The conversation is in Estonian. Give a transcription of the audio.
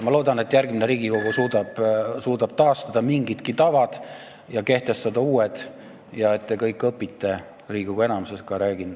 Ma loodan, et järgmine Riigikogu suudab taastada mingidki head tavad ja kehtestada uued ja et te kõik õpite – ma räägin Riigikogu enamusest – häbenema.